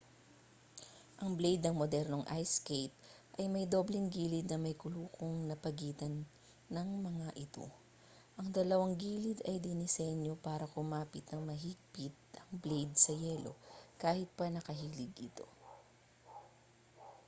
ang blade ng modernong ice skate ay may dobleng gilid na may lukong sa pagitan ng nga mga ito ang dalawang gilid ay dinisenyo para kumapit nang mahigpit ang blade sa yelo kahit pa nakahilig ito